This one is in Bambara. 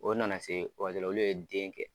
O na na se o waati la olu ye den kɛ.